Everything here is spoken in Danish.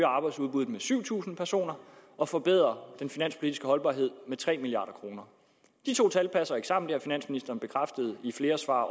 arbejdsudbuddet med syv tusind personer og forbedrer den finanspolitiske holdbarhed med tre milliard kroner de to tal passer ikke sammen det har finansministeren bekræftet i flere svar